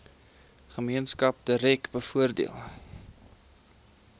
gemeenskap direk bevoordeel